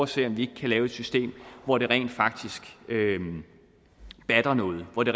se om vi ikke kan lave et system hvor det rent faktisk batter noget og hvor det